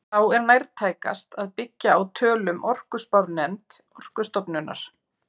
Þá er nærtækast að byggja á tölum orkuspárnefnd Orkustofnunar.